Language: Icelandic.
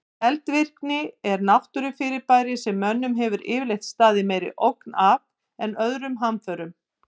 Eldvirkni er náttúrufyrirbæri sem mönnum hefur yfirleitt staðið meiri ógn af en öðrum hamförum.